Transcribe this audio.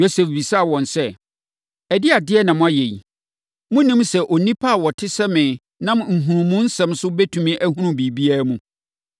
Yosef bisaa wɔn sɛ, “Ɛdeɛn adeɛ na moayɛ yi? Monnim sɛ onipa a ɔte sɛ me nam nhunumusɛm so bɛtumi ahunu biribiara mu?”